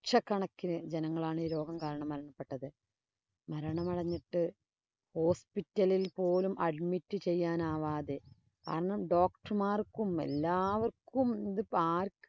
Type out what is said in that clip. ~ക്ഷക്കണക്കിന് ജനങ്ങളാണ് ഈ രോഗം കാരണം മരണപ്പെട്ടത്. മരണമടഞ്ഞിട്ട് hospital ഇല്‍ പോലും admit ചെയ്യാനാകാതെ കാരണം doctor മാര്‍ക്കും, എല്ലാവര്‍ക്കും ഇത് ആര്‍~